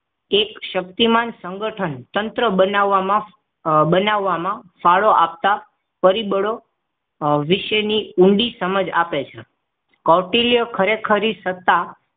એક શક્તિમાન સંગઠનતંત્ર બનાવવામાં અમ બનાવવામાં ફાળો આપતા પરિબળો વિશે ઊંડી સમજ આપે છે કૌટિલ્ય ખરે ખરી સત્તા